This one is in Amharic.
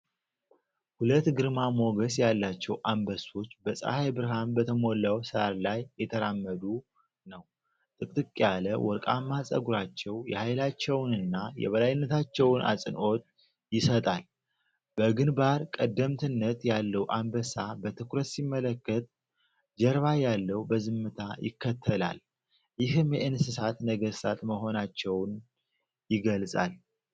ሁለት ግርማ ሞገስ ያላቸው አንበሶች በፀሐይ ብርሃን በተሞላው ሳር ላይ እየተራመዱ ነው። ጥቅጥቅ ያለ ወርቃማ ፀጉራቸው የኃይላቸውንና የበላይነታቸውን አጽንዖት ይሰጣል። በግንባር ቀደምትነት ያለው አንበሳ በትኩረት ሲመለከት፣ ጀርባ ያለው በዝምታ ይከተላል፤ ይህም የእንስሳት ነገሥታት መሆናቸውን የገልጻል።